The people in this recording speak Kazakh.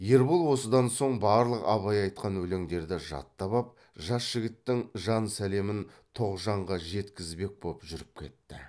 ербол осыдан соң барлық абай айтқан өлеңдерді жаттап ап жас жігіттің жан сәлемін тоғжанға жеткізбек боп жүріп кетті